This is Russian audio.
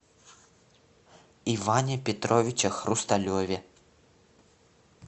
иване петровиче хрусталеве